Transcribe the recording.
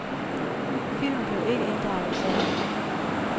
Filmen blev ikke inddraget i sagen.